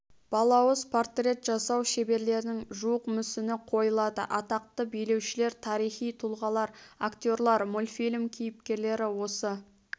балауыз портрет жасау шеберлерінің жуық мүсіні қойылады атақты билеушілер тарихи тұлғалар актерлар мультфильм кейіпкерлері осы